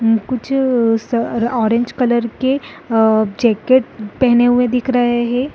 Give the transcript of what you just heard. कुछ स orange colour के जैकेट पहने हुए दिख रहे हैं।